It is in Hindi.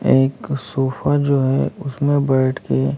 एक सोफा जो है उसमें बैठ के--